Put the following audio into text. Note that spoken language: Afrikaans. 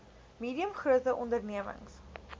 medium grote ondememings